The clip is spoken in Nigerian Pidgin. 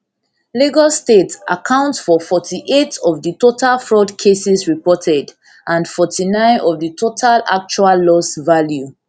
lagos state account for forty-eight of di total fraud cases reported and forty-nine of di total actual loss value